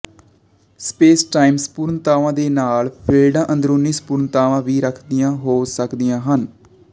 spacetime ਸਮਰੂਪਤਾਵਾਂ ਦੇ ਨਾਲ ਨਾਲ ਫੀਲਡਾਂ ਅੰਦਰੂਨੀ ਸਮਰੂਪਤਾਵਾਂ ਵੀ ਰੱਖਦੀਆਂ ਹੋ ਸਕਦੀਆਂ ਹਨ